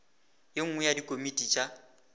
ye nngwe ya dikomiti tša